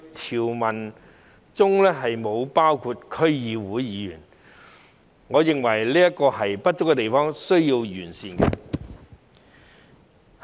條文並不包括區議員，我認為這是不足的地方，須予完善。